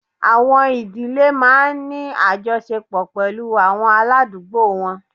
Àwọ̀n ìdílé máa ń ní àjọṣepọ̀ pẹ̀lú àwọn aládùúgbò wọn